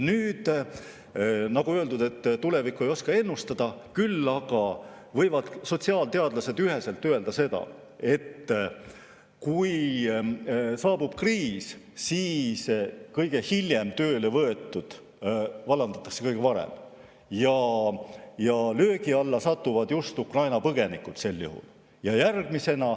Nagu öeldud, tulevikku ei oska ennustada, küll aga võivad sotsiaalteadlased üheselt öelda, et kui saabub kriis, siis kõige hiljem tööle võetud vallandatakse kõige varem, ja löögi alla satuvad sel juhul just Ukraina põgenikud.